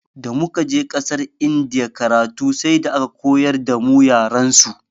Damu kaje ƙasar indiya karatu sai da aka koyar damu yarensu.